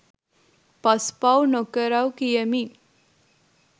පස් පව් නොකරවු කියමින්